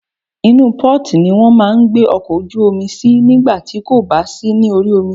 Inú port ni wọ́n máà ń gbé ọkọ̀ ojú omi sí nígbà tí kò bá sí ní orí omi.